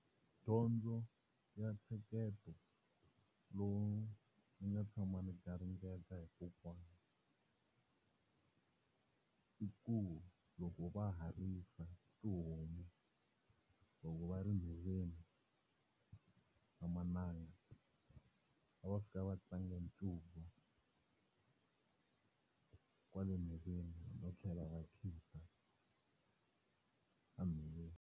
Dyondzo ya ntsheketo lowu ni nga tshama ni garingeta hi kokwana i ku loko va ha risi tihomu loko va ri ndleleni mananga, a va fika va tlanga ncuva kwale nhoveni no tlhela va khida a nhoveni.